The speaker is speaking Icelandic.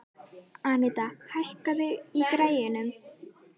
Anita, hækkaðu í græjunum.